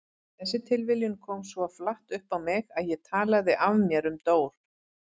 Þessi tilviljun kom svo flatt upp á mig að ég talaði af mér um Dór.